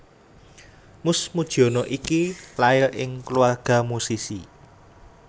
Mus Mujiono iki lair ing kulawarga musisi